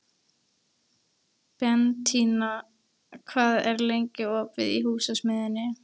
Bentína, hvað er lengi opið í Húsasmiðjunni?